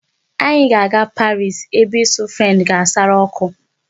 Anyị ga-aga Paris ebe ịsụ French ga-asara ọkụ.